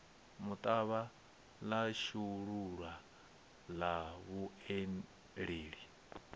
muṱavha ḽa shulula ḽa vhuelela